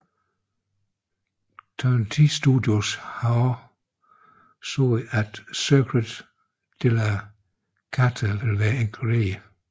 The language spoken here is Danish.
Turn 10 Studios har også sagt at Circuit de la Sarthe vil være inkluderet